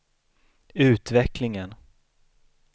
utvecklingen